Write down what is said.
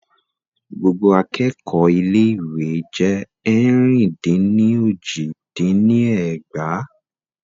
Gbogbo akẹ́kọ̀ọ́ ilé ìwé jé ẹ̀rin-dín-ní-ojì dín ní ẹgbàá.